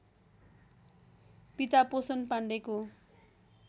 पिता पोषण पाण्डेको